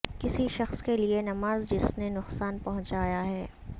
کسی شخص کے لئے نماز جس نے نقصان پہنچایا ہے